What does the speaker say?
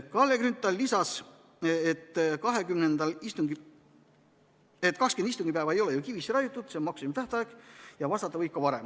Kalle Grünthal lisas, et 20 istungipäeva ei ole ju kivisse raiutud, see on maksimumtähtaeg ja vastata võib ka varem.